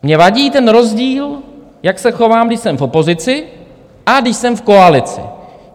Mně vadí ten rozdíl, jak se chovám, když jsem v opozici, a když jsem v koalici.